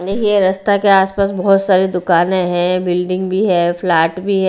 देखिए रास्ता के आसपास बहुत सारी दुकानें हैं बिल्डिंग भी हैं प्लाट भी हैं।